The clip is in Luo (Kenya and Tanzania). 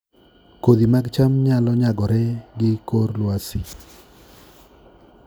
Kodhi mag cham nyalo nyagore gi kor lwasi